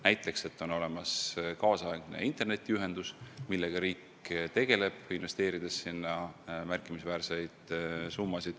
Näiteks peab olema korralik internetiühendus, millega riik tegelebki, investeerides sinna märkimisväärseid summasid.